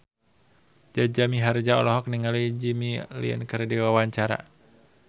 Jaja Mihardja olohok ningali Jimmy Lin keur diwawancara